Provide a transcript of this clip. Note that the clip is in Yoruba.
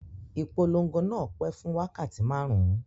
Ìpolon̄go náà pẹ́ fún wákàtí márùn-ún